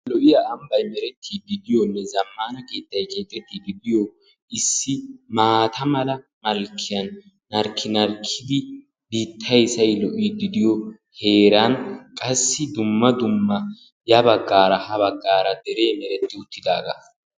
Lo'iya ambbay diyonne. zammaana keettay keexettiiddi de'iyo issi maata mala malkkiyan giigidi biittay say lo'iiddi diyo qassi dumma dumma ya baggaara ha baggaara de'iya keexettiyuttidaagaa.